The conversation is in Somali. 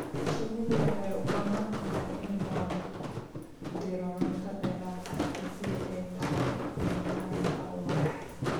Shinnidu waxay u baahan tahay in loo diro cunto dheeraad ah haddii ay dhacdo yaraanta ubax.